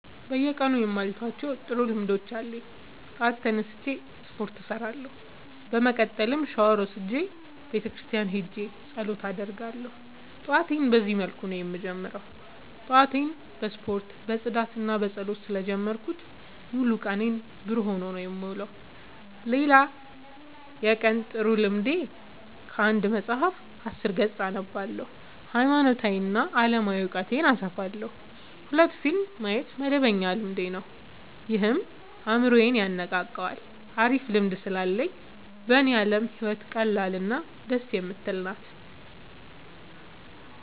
በየቀኑ የማልተዋቸው ጥሩ ልምዶች አሉኝ ጠዋት ተነስቼ ስፓርት እሰራለሁ። በመቀጠልም ሻውር ወስጄ ቤተክርስቲያን ሄጄ ፀሎት አደርጋለሁ ጠዋቴን በዚህ መልኩ ነው የምጀምረው። ጠዋቴን በስፖርት በፅዳትና በፀሎት ስለ ጀመርኩት ሙሉ ቀኔ ብሩህ ሆኖ ነው የምውለው። ሌላ የቀን ጥሩ ልምዴ ከአንድ መፀሀፍ አስር ገፅ አነባለሁ ሀይማኖታዊ እና አለማዊ እውቀቴን አሰፋለሁ። ሁለት ፊልም ማየት መደበኛ ልማዴ ነው ይህም አይምሮዬን የነቃቃዋል አሪፍ ልምድ ስላለኝ በኔ አለም ህይወት ቀላል እና ደስ የምትል ናት።